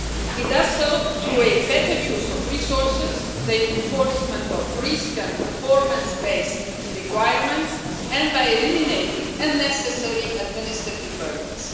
It does so through a better use of resources, the enforcement of risk and performance based requirements, and by eliminating unnecessary administrative burdens.